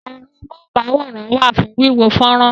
Ẹ̀rọ amóhùn-máwòrán wà fún wíwo fọ́nrán.